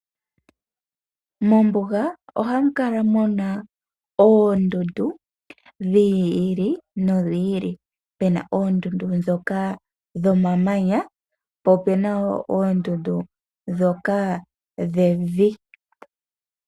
Mombuga ohamu kala muna ooondundu dhi ili nodhi ili pena oondundu dhoka dhomamanya po opena wo po opena wo oondundu dhoka dhevi.